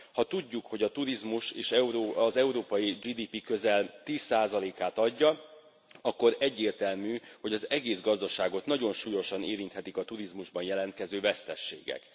Ha tudjuk, hogy a turizmus az európai GDP közel 10 át adja, akkor egyértelmű, hogy az egész gazdaságot nagyon súlyosan érinthetik a turizmusban jelentkező veszteségek.